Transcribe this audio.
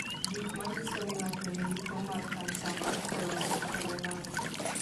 Gik manyiso ni ng'ato nigi tuwo mar kansa mar colorectal en ang'o?